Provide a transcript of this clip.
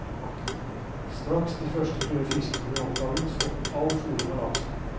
Straks de første døde fiskene ble oppdaget, stoppet all fôring av laksen.